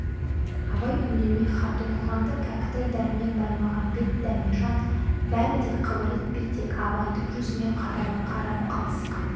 абай үндемей хат оқығанда кәкітай дәрмен баймағамбет дәмежан бәрі де қыбыр етпей тек абайдың жүзіне қадала қарап қалысқан